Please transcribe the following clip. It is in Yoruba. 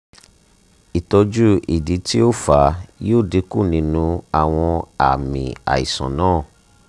itoju idi ti o fa yoo dinku awọn aami aisan naa